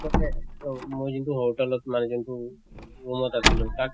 তাৰ পাছত এহ মই যোন টো hotel ত মানে যোন টো room ত আছিলো তাত